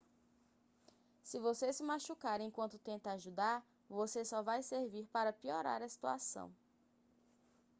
se você se machucar enquanto tenta ajudar você só vai servir para piorar a situação